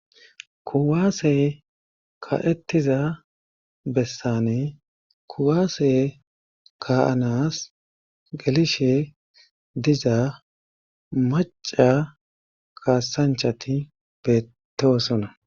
Kuwaase ka'ettiza bessane kuwaase kaanas gelishe diza maca kaasanchati beettoosona.